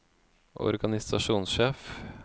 organisasjonssjef